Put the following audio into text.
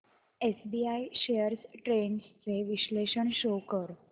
SBI shares trends चे विश्लेषण show कर